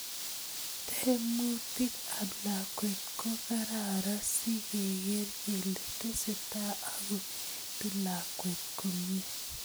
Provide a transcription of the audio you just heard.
Temutik ap lakwet ko kararan sigeker kele tesetai ako etu lakwet komie.